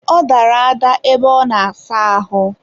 ọ dara ada ebe ọ na-asa ahụ.